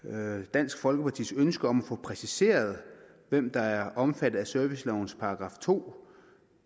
dansk folkepartis ønske om at få præciseret hvem der er omfattet af servicelovens § to